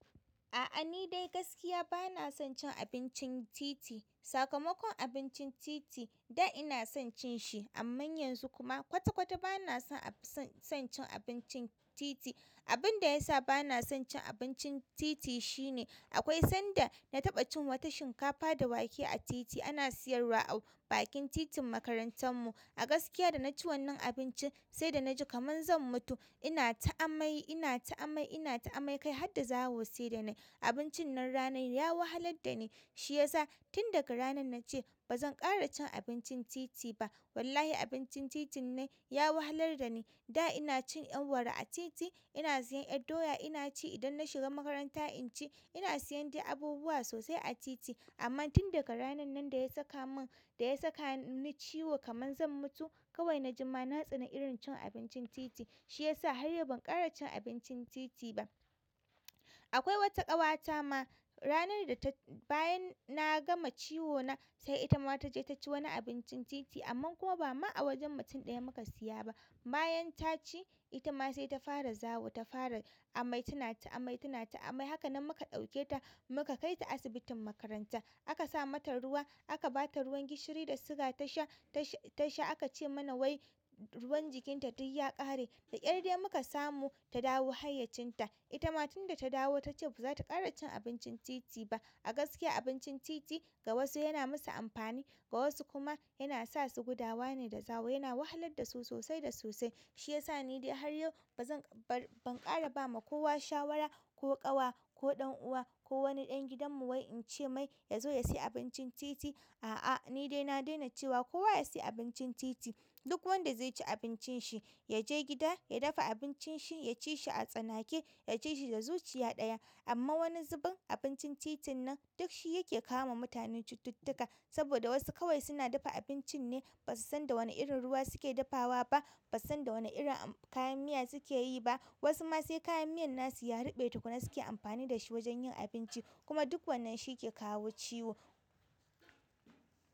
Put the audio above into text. A'a, nidai gaskiya ba na son cin abincin titi. Sakamakon abincin titi, da ina son cin shi amma yanzu kuma kwata kwata ba na son, son cin abincin titi. Abin da ya sa ba na son cin abincin titi shine akwai sanda na taɓa cin wata shinkafa da wake a titi. Ana siyarwa a bakin titin makarantar mu. A gaskiya da na ci wannan abincin sai da na ji kaman zan mutu. Ina ta amai, ina ta amai, ina ta amai kai har da zawo sai da na yi. Abincin nan ranar ya wahalar da ni. Shiyasa tun daga ranar na ce ba zan ƙara cin abincin titi ba. Wallahi abincin titin nan ya wahalar da ni. Da ina cin yar'wara a titi, ina siyan yar'doya ina ci idan na shiga makaranta in ci. Ina siyan dai abubuwa sosai a titi amma tun daga ranar nan da ya saka mun, da ya saka ni ciwo kaman zan mutu kawai na jima na tsani irin cin abincin titi. Shiyasa har yau ban ƙara cin abincin titi ba. Akwai wata ƙawata ma ranar da ta, bayan na gama ciwona sai ita ma ta je ta ci wani abincin titi amma kuma ba ma a wajen mutum ɗaya muka siya ba. Bayan ta ci, ita ma sai ta fara zawo, ta fara amai. Tana ta amai, tana ta amai. Hakanan muka ɗauke ta muka kai ta asibitin makaranta. A ka sa mata ruwa, aka ba ta ruwan gishiri da siga ta sha, ta sha. A ka ce mana wai ruwan jikinta duk ya ƙare. Da ƙyar dai muka samu ta dawo hayyacinta. Ita ma tun da ta dawo ta ce ba za ta ƙara cin abincin titi ba. A gaskiya abincin titi ga wasu yana musu amfani, ga wasu kuma yana sa su gudawa ne da zawo. Yana wahalar da su sosai da sosai. Shiyasa nidai har yau ba zan, ban ƙara ba ma kowa shawara ko ƙawa ko ɗan uwa ko wani ɗan gidan mu wai in ce mai ya zo ya sayi abincin titi a. A'a, ni dai na daina cewa kowa ya sayi abincin titi. Duk wanda zaici abincin shi, ya je gida, ya dafa abincin shi, ya ci shi a tsanake, ya ci shi da zuciya ɗaya. Amman wani zubin abincin titin nan duk shi yake kawo wa mutane cututtuka saboda wasu kawai suna dafa abincin ne ba su san da wane irin ruwa suke dafawa ba, ba su san da wane irin kayan miya suke yi ba. Wasu ma sai kayan miyan na su ya ruɓe tukuna suke amfani da shi wajen yin abinci kuma duk wannan shi ke kawo ciwo.